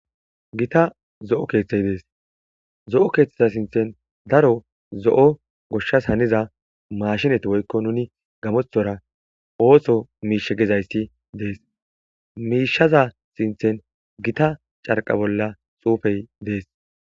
Gitta zo'o keththay de'es. Zo'o keththa sinththan daro zo'o goshshas haniza machinnetti woyko nuuni gamoththora ooththo mishshi gizaytti de'ettes. Mishshaza sinththen giiththa carqqa bolla xuufe de'es.